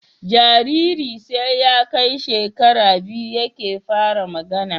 Jariri sai ya Kai shekara biyu yake fara magAna